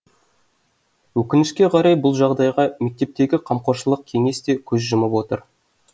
өкінішке қарай бұл жағдайға мектептегі қамқоршылық кеңес те көз жұмып отыр